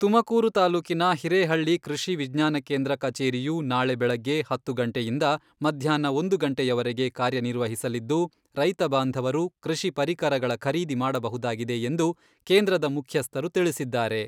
ತುಮಕೂರು ತಾಲೂಕಿನ ಹಿರೇಹಳ್ಳಿ ಕೃಷಿ ವಿಜ್ಞಾನ ಕೇಂದ್ರ ಕಚೇರಿಯು ನಾಳೆ ಬೆಳಗ್ಗೆ ಹತ್ತು ಗಂಟೆಯಿಂದ ಮಧ್ಯಾಹ್ನ ಒಂದು ಗಂಟೆವರೆಗೆ ಕಾರ್ಯ ನಿರ್ವಹಿಸಲಿದ್ದು, ರೈತ ಬಾಂಧವರು ಕೃಷಿ ಪರಿಕರಗಳ ಖರೀದಿ ಮಾಡಬಹುದಾಗಿದೆ ಎಂದು ಕೇಂದ್ರದ ಮುಖ್ಯಸ್ಥರು ತಿಳಿಸಿದ್ದಾರೆ.